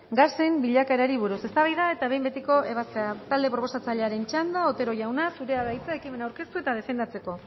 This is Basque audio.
gasen bilakaerari buruz eztabaida eta behin betiko ebazpena talde proposatzailearen txanda otero jauna zurea da hitza ekimena aurkeztu eta defendatzeko